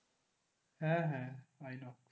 হ্যাঁ হ্যাঁ inox